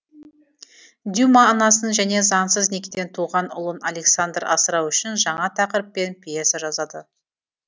дюма анасын және заңсыз некеден туған ұлын александр асырау үшін жаңа тақырыппен пьеса жазады